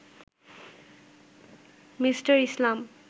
Me. Islam